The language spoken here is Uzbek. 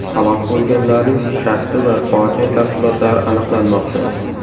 Halok bo‘lganlarning shaxsi va fojia tafsilotlari aniqlanmoqda.